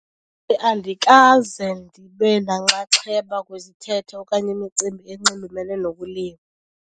Andikaze ndibe nanxaxheba kwizithethe okanye imicimbi enxulumene nokulima.